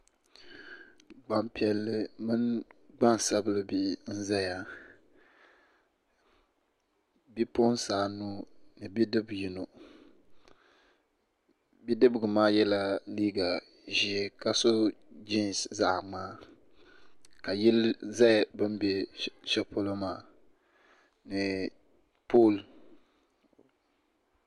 Gbanpiiɛlli mini gbasabili bihi n ʒɛya bipuɣunsi anu ni bidib yino bidibgi maa yɛla liiga ʒiɛ ka so jiins zaɣ ŋmaa ka yili ʒɛ bi ni bɛ shɛli polo maa ni pool